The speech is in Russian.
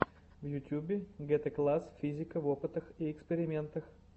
в ютюбе гетэкласс физика в опытах и экспериментах